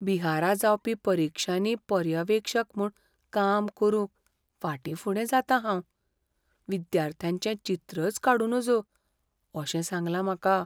बिहारा जावपी परिक्षांनी पर्यवेक्षक म्हूण काम करूंक फाटींफुडें जातां हांव. विद्यार्थ्यांचें चित्रच काडूं नजो अशें सांगलां म्हाका.